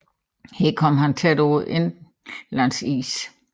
Her kom han tæt på indlandsisen